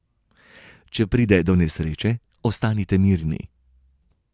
Če pride do nesreče, ostanite mirni.